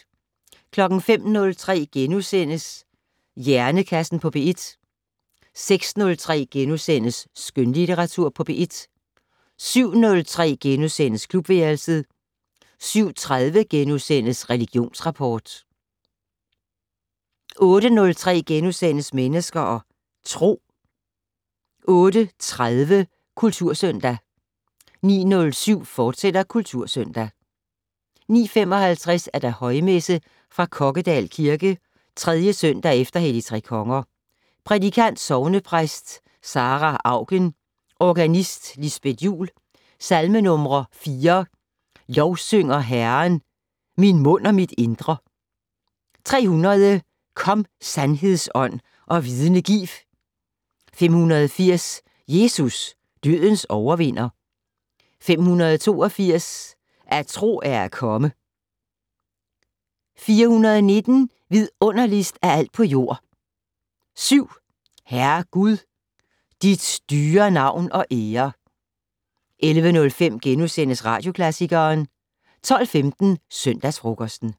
05:03: Hjernekassen på P1 * 06:03: Skønlitteratur på P1 * 07:03: Klubværelset * 07:30: Religionsrapport * 08:03: Mennesker og Tro * 08:30: Kultursøndag 09:07: Kultursøndag, fortsat 09:55: Højmesse - fra Kokkedal Kirke. 3. søndag efter Hellig tre Konger. Prædikant: Sognepræst Sarah Auken. Organist: Lisbet Juul. Salmenumre: 4: "Lovsynger Herren, min mund og mit indre". 300: "Kom sandhedsånd, og vidne giv". 580: "Jesus, dødens overvinder". 582: "At tro er at komme". 419: "Vidunderligst af alt på jord". 7: "Herre Gud, dit dyre navn og ære". 11:05: Radioklassikeren * 12:15: Søndagsfrokosten